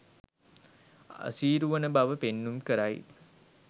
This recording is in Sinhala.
අසීරුවන බව පෙන්නුම් කරයි